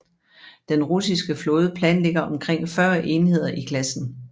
Den russiske flåde planlægger omkring 40 enheder i klassen